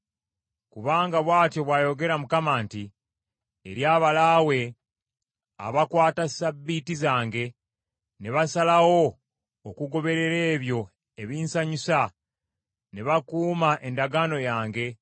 Kubanga bw’atyo bw’ayogera Mukama nti, “Eri abalaawe abakwata ssabbiiti zange ne basalawo okugoberera ebyo ebinsanyusa, ne bakuuma endagaano yange,